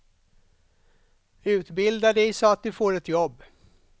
Utbilda dig så att du får ett jobb.